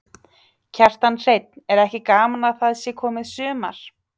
Kjartan Hreinn: Er ekki gaman að það sé komið sumar?